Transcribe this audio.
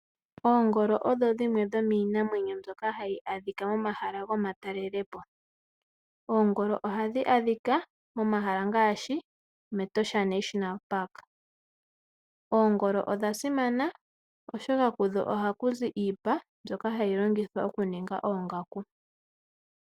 Oongolo odho dhimwe dhomiinamwenyo mbyoka hayi adhika momahala gomatalelopo. Oongolo ohadhi adhika momahala ngaashi, mEtosha National Park. Oongolo odha simana oshoka kudho ohaku zi iipa, mbyoka hayi longithwa okuninga oongaku.